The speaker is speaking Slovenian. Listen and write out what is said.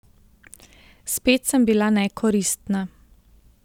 Spet sem bila nekoristna.